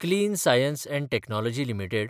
clean science and technology limited